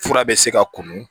Fura bɛ se ka kunun